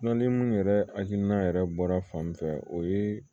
ni munnu yɛrɛ hakilina yɛrɛ bɔra fan min fɛ o ye